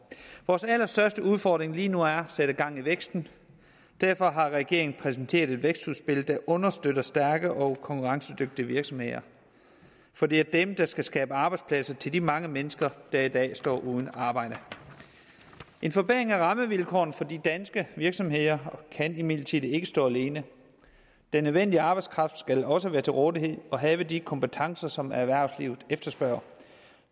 vores allerstørste udfordring lige nu er at sætte gang i væksten derfor har regeringen præsenteret et vækstudspil der understøtter stærke og konkurrencedygtige virksomheder for det er dem der skal skabe arbejdspladser til de mange mennesker der i dag står uden arbejde en forbedring af rammevilkårene for de danske virksomheder kan imidlertid ikke stå alene den nødvendige arbejdskraft skal også være til rådighed og have de kompetencer som erhvervslivet efterspørger